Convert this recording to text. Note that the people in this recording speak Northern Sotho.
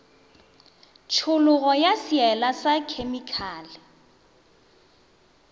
tšhologo ya seela sa khemikale